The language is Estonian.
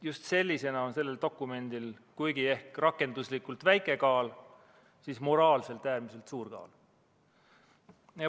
Just sellisena on sel dokumendil rakenduslikult ehk väike kaal, aga moraalselt äärmiselt suur kaal.